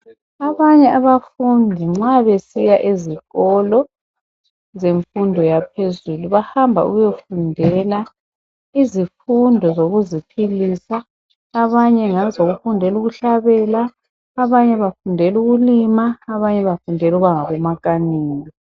Abanye abafundi nxa baesiya ezikolo yemfundo yaphezulu bahamba ukuyofundela izifundo zokuziphilisa abanye ngezokufundela ukuhlabela abanye bafundela ukulima abanye bafundela ukuba ngomakanika